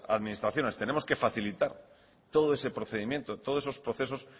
administraciones tenemos que facilitar todo ese procedimiento todos esos procesos